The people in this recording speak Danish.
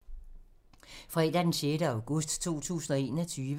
Fredag d. 6. august 2021